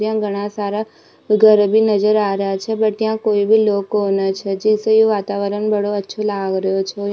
यहाँ घना सारा घर भी नजर आ रेहा छे भट यहाँ कोई भी लोग कोनो छे जिससे ये वातावरण बड़ो अच्छो लाग रेहो छे।